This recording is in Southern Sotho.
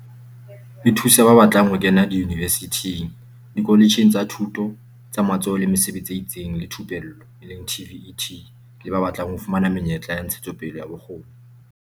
E thusa ba batlang ho kena diyunivesithing, dikoletjheng tsa Thuto ya tsa Matsoho le Mesebetsi e itseng le Thupello, TVET, le ba batlang ho fumana menyetla ya ntshetsopele ya bokgoni.